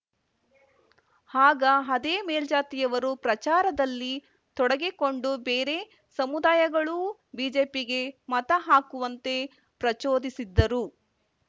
ಆಗ ಅದೇ ಮೇಲ್ಜಾತಿಯವರು ಪ್ರಚಾರದಲ್ಲಿ ತೊಡಗಿಕೊಂಡು ಬೇರೆ ಸಮುದಾಯಗಳೂ ಬಿಜೆಪಿಗೆ ಮತ ಹಾಕುವಂತೆ ಪ್ರಚೋದಿಸಿದ್ದರು